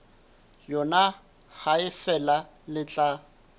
yona ha feela le tla